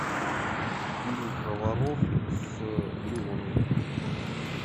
фильм про воров с леоновым